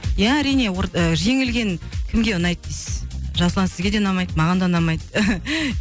ия әрине жеңілген кімге ұнайды дейсіз жасұлан сізге де ұнамайды маған да ұнамайды